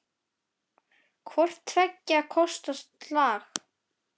Hvort tveggja kostar slag.